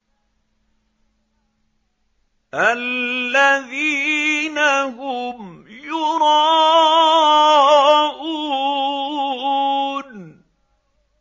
الَّذِينَ هُمْ يُرَاءُونَ